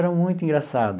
Era muito engraçado.